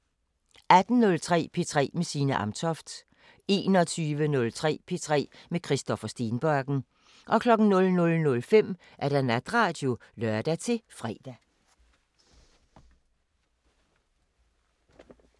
18:03: P3 med Signe Amtoft 21:03: P3 med Christoffer Stenbakken 00:05: Natradio (lør-fre)